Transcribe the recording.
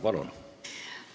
Palun!